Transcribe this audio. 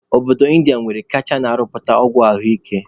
Obodo Indiya nwere kacha na-ịrụpụta ọgwụ ahụ ike